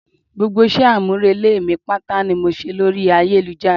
Gbogbo ìṣe àmúrelé mi pátá ni mo ṣe lórí ayélujára